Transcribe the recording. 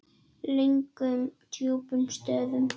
Löngum djúpum stöfum.